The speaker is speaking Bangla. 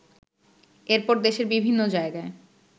এরপর দেশের বিভিন্ন জায়গায়